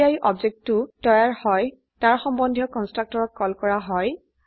যেতিয়াই অবজেক্টটো তৈয়াৰ হয় তাৰ সম্বন্ধীয় কন্সট্ৰকটৰক কল কৰা হয়